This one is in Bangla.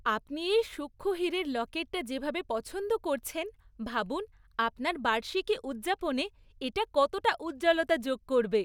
আপনি এই সূক্ষ্ম হীরের লকেটটা যেভাবে পছন্দ করছেন, ভাবুন আপনার বার্ষিকী উদযাপনে এটা কতটা উজ্জ্বলতা যোগ করবে।